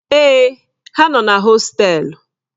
Èè, ha nọ na hostelu.